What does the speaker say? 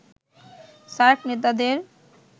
SAARC নেতাদের